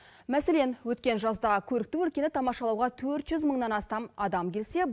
мәселен өткен жазда көрікті өлкені тамашалауға төрт жүз мыңнан астам адам келсе